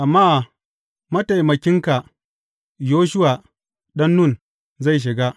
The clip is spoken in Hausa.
Amma mataimakinka, Yoshuwa ɗan Nun, zai shiga.